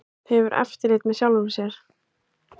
Hefur eftirlit með sjálfri sér